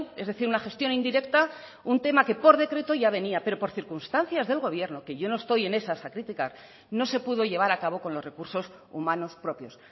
es decir una gestión indirecta un tema que por decreto ya venía pero por circunstancias del gobierno que yo no estoy en esas a criticar no se pudo llevar a cabo con los recursos humanos propios